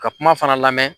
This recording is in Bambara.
Ka kuma fana lamɛn